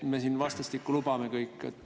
Me siin vastastikku kõik lubame.